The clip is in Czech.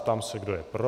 Ptám se, kdo je pro.